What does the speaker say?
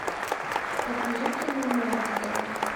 покажи кино монстро